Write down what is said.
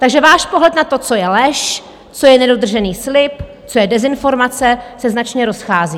Takže váš pohled na to, co je lež, co je nedodržený slib, co je dezinformace, se značně rozchází.